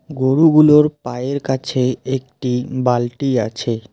গরুগুলোর পায়ের কাছে একটি বালটি আছে।